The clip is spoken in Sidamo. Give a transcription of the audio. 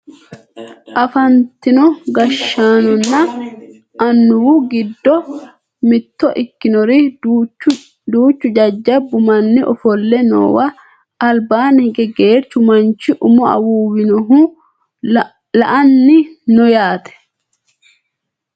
afantino gashshaanonna annuwu giddo mitto ikkinori duuchu jajjabbu manni ofolle noowa albanni hige geerchu manchi umo awuuwinohu la"anni no yaate